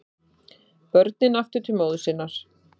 Börnin aftur til móður sinnar